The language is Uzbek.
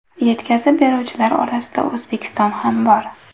Yetkazib beruvchilar orasida O‘zbekiston ham bor.